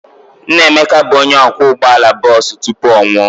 Nna Emeka bụ onye ọkwọ ụgbọala bọọsụ tupu ọ nwụọ.